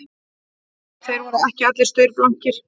Þeir voru ekki allir staurblankir